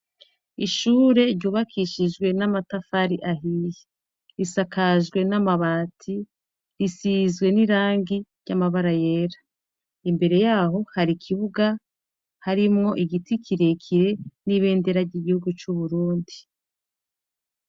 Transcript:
Ishure ryubakishijwe n'amatafari ahiye. Risakajwe n'amabati, risizwe n'irangi ry'amabara yera. Imbere yaho hari ikibuga harimwo igiti kirekire n'ibendera ry'igihugu c'Uburundi.